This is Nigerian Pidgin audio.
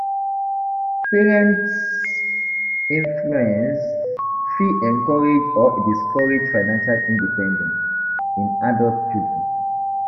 Parents's influence fit encourage or discourage financial independence in adult children.